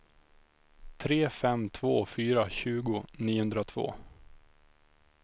tre fem två fyra tjugo niohundratvå